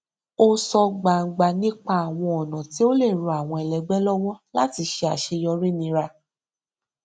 ó sọ gbangba nípa àwọn ọnà tí ó lè ran àwọn ẹlẹgbẹ lọwọ láti ṣe àṣeyọrí nírà